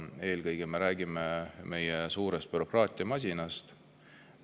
Eelkõige me räägime meie suurest bürokraatiamasinast.